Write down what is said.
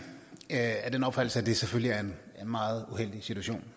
af den opfattelse at det selvfølgelig er en meget uheldig situation